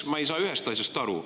Ma ei saa ühest asjast aru.